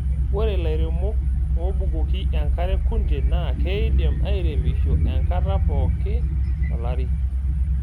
Ore ilairemok oobukoki enkare kunde naa keidim airemisho enkata pooki tolari.